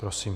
Prosím.